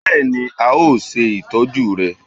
bẹẹni, a o ṣe itọju rẹ